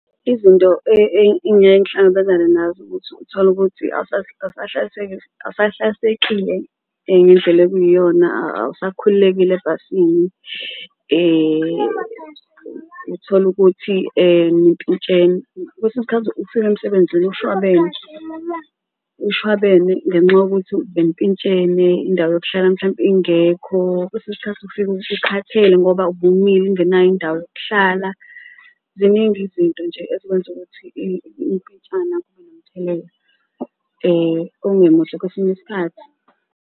Izinto engiyaye ngihlangabezane nazo ukuthi utholukuthi awusahlalisekile indlela okuyiyona awusakhululekile ebhasini uthole ukuthi nimpintshene kwesinye isikhathi ufike emsebenzini kushwabene umshwabene ngenxa yokuthi benimpintshene indawo yokuhlala mhlawumpe ingekho. Kwesinye isikhathi ufike usukhathele ngoba ubumile ungenayo indawo yokuhlala, ziningi nje izinto ezikwenza ukuthi ukumpintshana kube nomthelela ongemuhle kwesinye isikhathi.